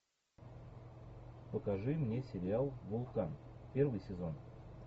покажи мне сериал вулкан первый сезон